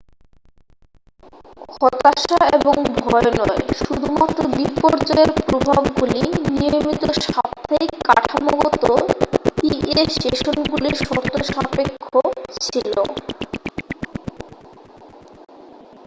হতাশা এবং ভয় নয় শুধুমাত্র বিপর্যয়ের প্রভাবগুলি নিয়মিত সাপ্তাহিক কাঠামোগত পিএ সেশনগুলির শর্তসাপেক্ষ ছিল